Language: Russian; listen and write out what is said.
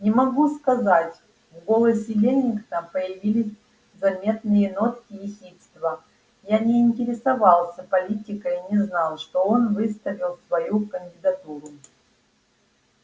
не могу сказать в голосе лэннинга появились заметные нотки ехидства я не интересовался политикой и не знал что он выставил свою кандидатуру